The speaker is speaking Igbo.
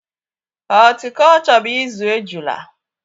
Họltikolchọ bụ izú ejula